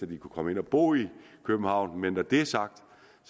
de kunne komme ind og bo i københavn men når det er sagt